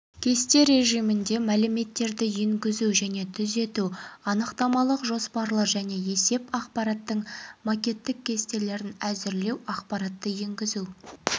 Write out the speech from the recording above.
кесте режимінде мәліметтерді енгізу және түзету анықтамалық жоспарлы және есеп ақпараттың макеттік кестелерін әзірлеу ақпаратты енгізу